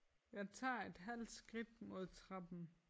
Jeg tager et halvt skridt mod trappen